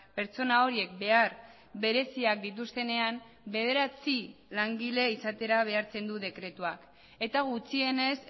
pertsona horiek behar bereziak dituztenean bederatzi langile izatera behartzen du dekretuak eta gutxienez